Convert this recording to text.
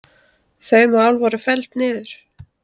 Þau mál voru felld niður